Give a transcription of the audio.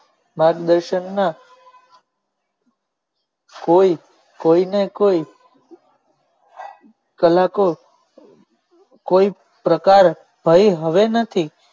માર્ગ દર્શન ના કોઈ કોઈ ને કોઈ કલાકો કોઈ પ્રકારે થયું હવે નથી.